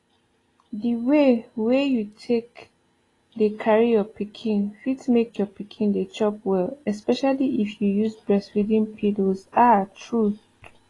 the way wey you take dey carry your pikin fit make your pikin dey chop well especially if you use breastfeeding pillows ah truth